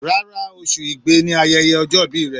Rárá, oṣù Igbe ni ayẹyẹ ọjọ́ ìbí rẹ̀.